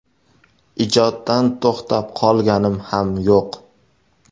Ijoddan to‘xtab qolganim ham yo‘q.